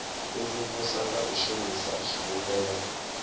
imvumvusa nga u shumisa zwivhumbeo